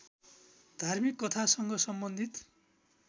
धार्मिक कथासँग सम्बन्धित